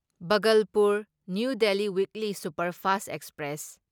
Bhagalpur New Delhi weekly superfast express